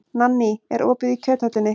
Nanný, er opið í Kjöthöllinni?